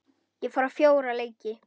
Ég fór á fjóra leiki.